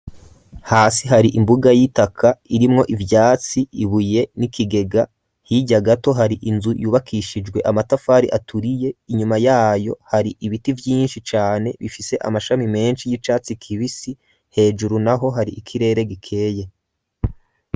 Hasi hari imbuga y'itaka irimwo ivyatsi ibuye n'ikigega hirya gato hari inzu yubakishijwe amatafari aturiye inyuma yayo hari ibiti vyinshi cane bifise amashami menshi y'icatsi kibisi hejuru naho hari ikirere gikeye.